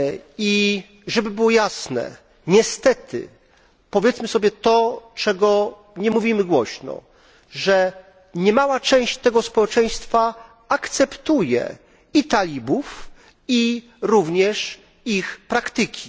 I żeby było jasne, niestety powiedzmy sobie to, czego nie mówimy głośno niemała część tego społeczeństwa akceptuje talibów, jak również ich praktyki.